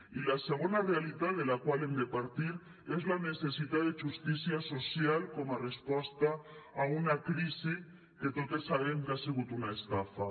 i la segona realitat de la qual hem de partir és la necessitat de justícia social com a resposta a una crisi que totes sabem que ha sigut una estafa